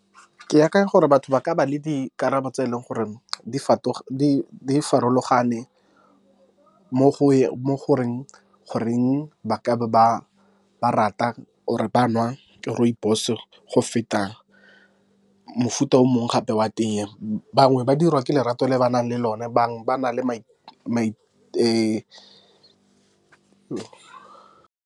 Ke akanya gore batho ba ka ba le dikarabo tse e leng gore di farologane mo goreng, ba ka be ba ba rata or e ba nwa rooibos go feta mofuta o mongwe gape wa tee, bangwe ba dirwa ke lerato le ba nang le lone bangwe ba na le .